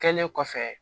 Kɛlen kɔfɛ